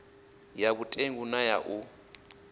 ya vhutengu na ya u